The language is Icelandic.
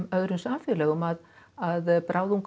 öðrum samfélögum að að